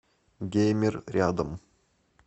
геймер рядом